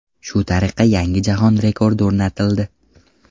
Shu tariqa, yangi jahon rekordi o‘rnatildi.